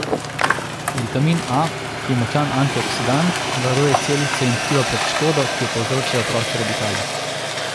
Vitamin A, ki je močan antioksidant, varuje celice in tkiva pred škodo, ki jo povzročajo prosti radikali.